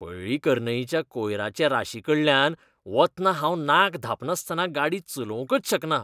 पळ्ळीकरनईच्या कोयराचे राशीकडल्यान वतना हांव नाक धांपनासतना गाडी चलोवंकच शकना.